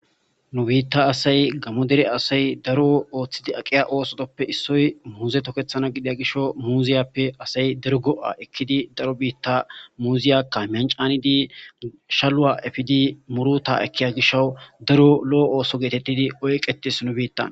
nu biitta asay gammo dere asay daro ooththidi aqiya oosooppe issoy muuze tokethana gidia gisho muuziyappe asay dergo7a ekkidi daro biitta muuziyakka mancaanidi shalua efidi muruta ekkiya gisho daro lo7o ooso geetettidi oyqetis nu biittan